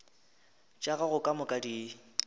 tša gago ka moka di